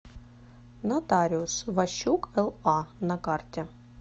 нотариус ващук ла на карте